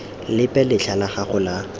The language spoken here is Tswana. lepe letlha la gago la